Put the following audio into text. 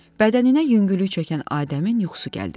Bədəninə yüngüllük çəkən Adəmin yuxusu gəldi.